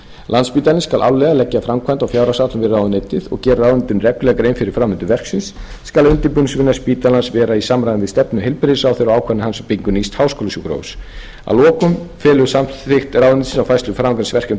landspítalinn skal árlega leggja framkvæmda og fjárhagsáætlun við ráðuneytið og gera ráðuneytinu reglulega grein fyrir framvindu verksins skal undirbúningsvinna spítalans vera í samræmi við stefnu heilbrigðisráðherra og ákvörðun hans um byggingu nýs háskólasjúkrahúss að lokum felur samþykkt ráðuneytisins á færslu framhaldsverkefna til